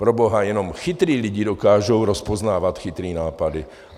Proboha, jenom chytrý lidi dokážou rozpoznávat chytrý nápady.